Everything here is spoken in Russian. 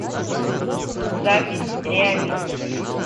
запись реавиз